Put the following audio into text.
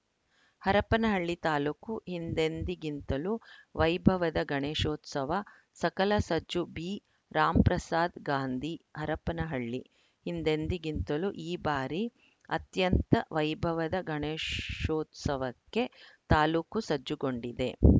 ಹರಪನಹಳ್ಳಿ ತಾಲೂಕು ಹಿಂದೆಂದಿಗಿಂತಲೂ ವೈಭವದ ಗಣೇಶೋತ್ಸವ ಸಕಲ ಸಜ್ಜು ಬಿರಾಮ್ ಪ್ರಸಾದ್‌ ಗಾಂಧಿ ಹರಪನಹಳ್ಳಿ ಹಿಂದೆಂದಿಗಿಂತಲೂ ಈ ಬಾರಿ ಅತ್ಯಂತ ವೈಭವದ ಗಣೇಶೋತ್ಸವಕ್ಕೆ ತಾಲೂಕು ಸಜ್ಜುಗೊಂಡಿದೆ